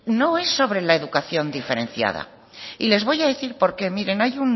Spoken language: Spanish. no es sobre la educación diferenciada y les voy a decir porqué miren